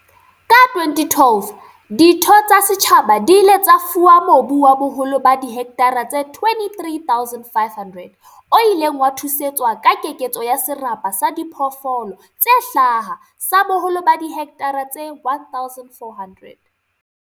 Ka 2012, ditho tsa setjhaba di ile tsa fuwa mobu wa boholo ba dihekthara tse 23 500 o ileng wa thusetswa ka keketso ya serapa sa diphoofolo tse hlaha sa boholo ba dihekthara tse 1 400.